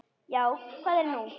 Já, hvað er nú?